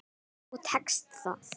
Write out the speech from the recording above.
Og tekst það.